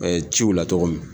ciw u la tɔgɔ min.